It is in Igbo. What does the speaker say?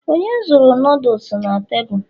onye zuru noodles na tebụl?